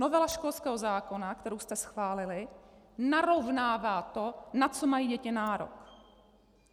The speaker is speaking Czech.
Novela školského zákona, kterou jste schválili, narovnává to, na co mají děti nárok.